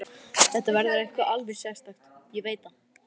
Þetta verður eitthvað alveg sérstakt, ég veit það.